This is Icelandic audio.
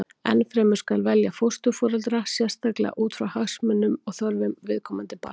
Enn fremur skal velja fósturforeldra sérstaklega út frá hagsmunum og þörfum viðkomandi barns.